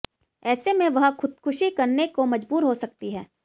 ऐसे में वह खुदकुशी करने को मजबूर हो सकती है